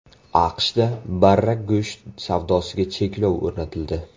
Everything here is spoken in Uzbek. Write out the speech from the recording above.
AQShda barra go‘sht savdosiga cheklov o‘rnatildi.